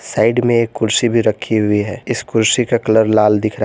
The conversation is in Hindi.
साइड में एक कुर्सी भी रखी हुई है इस कुर्सी का रंग लाल दिख रहा--